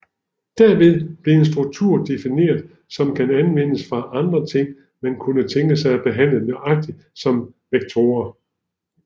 Derved bliver en struktur defineret som kan anvendes for andre ting man kunne tænke sig at behandle nøjagtigt som vektorer